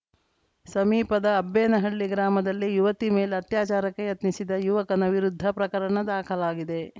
ಸಮೀಪದ ಅಬ್ಬೇನಹಳ್ಳಿ ಗ್ರಾಮದಲ್ಲಿ ಯುವತಿ ಮೇಲೆ ಅತ್ಯಾಚಾರಕ್ಕೆ ಯತ್ನಿಸಿದ ಯುವಕನ ವಿರುದ್ಧ ಪ್ರಕರಣ ದಾಖಲಾಗಿದೆ